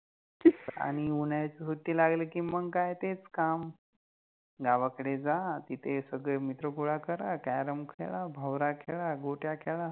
आणि उन्हाळ्याची सुट्टी लागलि कि मग काय तेच काम गावाकडे जा, तिथे सगळे मित्र गोळा करा, कॅरम खेळा, भवरा खेळा, गोट्या खेळा